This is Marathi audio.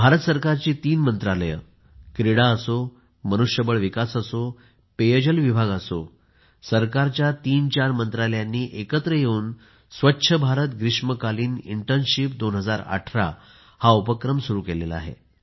भारत सरकारची तीन मंत्रालये क्रीडा असो मनुष्यबळ विकास असो पेयजल विभाग असो सरकारच्या तीनचार मंत्रालयांनी एकत्र येवून स्वच्छ भारत ग्रीष्मकालीन इंटर्नशिप 2018 उपक्रम सुरु केला आहे